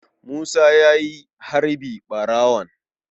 Musa ya yi harbi ɓarawon.